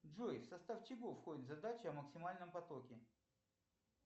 джой в состав чего входит задача о максимальном потоке